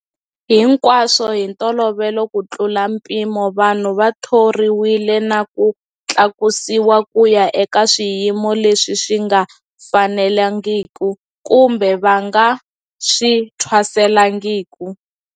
Hinkwaswo hi ntolovelo kutlula mpimo, vanhu va thoriwile na ku tlakusiwa ku ya eka swiyimo leswi swi nga fanelangiki kumbe va nga swi thwaselangiki.